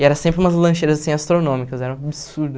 E era sempre umas lancheiras, assim, astronômicas, era um absurdo.